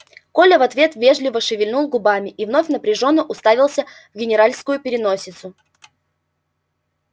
коля в ответ вежливо шевельнул губами и вновь напряжённо уставился в генеральскую переносицу